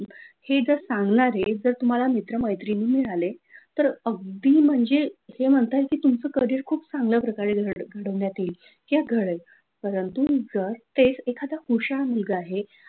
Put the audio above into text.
सांगणारे जर तुम्हाला मित्र-मैत्रिणी मिळाले तर अगदी म्हणजे ते म्हणतात की तुमचं करिअर खूप चांगलं प्रकारे घडविण्यात येईल किंवा घडेल परंतु तुमचं तेच एकदा हुशार मुलगा आहे,